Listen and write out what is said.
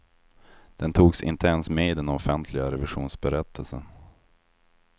Den togs inte ens med i den offentliga revisionsberättelsen.